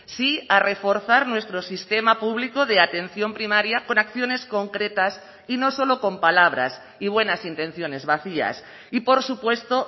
sí a reforzar nuestro sistema público de atención primaria por acciones concretas y no solo con palabras y buenas intenciones vacías y por supuesto